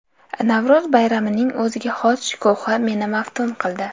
Navro‘z bayramining o‘ziga xos shukuhi meni maftun qildi.